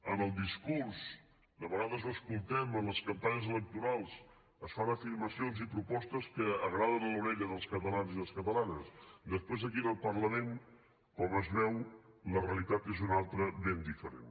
en el discurs de vegades ho escoltem en les campanyes electorals es fan afirmacions i propostes que agraden a l’orella dels catalans i les catalanes després aquí en el parlament com es veu la realitat és una altra ben diferent